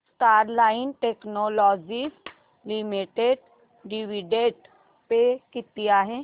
Sterlite Technologies Limited dividend pay किती आहे